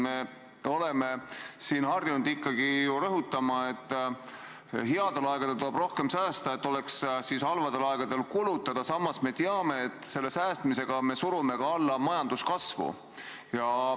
Me oleme siin harjunud ikkagi ju rõhutama, et headel aegadel tuleb rohkem säästa, et halbadel aegadel oleks, mida kulutada, samas me teame, et säästmisega me surume alla majanduskasvu.